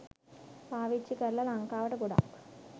පාවිච්චි කරල ලංකාවට ගොඩාක්